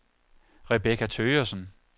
Rebecca Thøgersen